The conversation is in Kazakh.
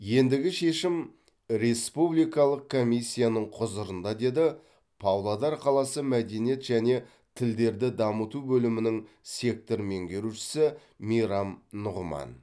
ендігі шешім республикалық комиссияның құзырында деді павлодар қаласы мәдениет және тілдерді дамыту бөлімінің сектор меңгерушісі мейрам нұғыман